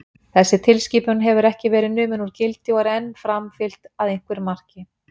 Þessi tilskipun hefur ekki verið numin úr gildi og er enn framfylgt að einhverju marki.